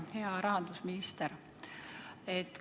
Hea rahandusminister!